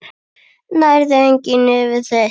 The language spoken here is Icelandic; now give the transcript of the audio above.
Nærðu engu í nefið þitt.